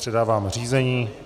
Předávám řízení.